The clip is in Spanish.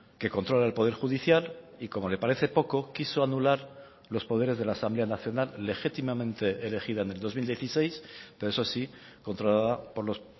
que controla el poder judicial y como le parece poco quiso anular los poderes de la asamblea nacional legítimamente elegida en el dos mil dieciséis pero eso sí controlada por los